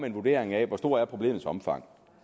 en vurdering af hvor stort problemets omfang